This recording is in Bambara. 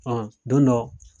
Hɔn don dɔ.